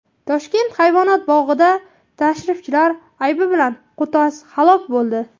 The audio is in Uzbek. Toshkent hayvonot bog‘ida tashrifchilar aybi bilan qo‘tos halok bo‘ldi.